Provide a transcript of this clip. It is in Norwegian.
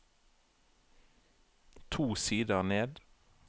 To sider ned